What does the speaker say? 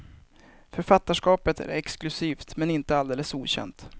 Författarskapet är exklusivt men inte alldeles okänt.